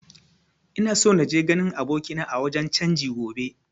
Ina so naje ganin abokina a wajen canji gobe